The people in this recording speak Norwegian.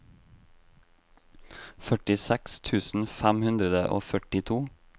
femtiseks tusen fem hundre og førtito